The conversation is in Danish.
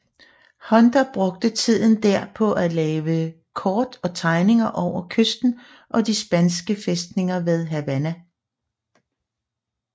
Hunter brugte tiden der på at lave kort og tegninger over kysten og de spanske fæstninger ved Havana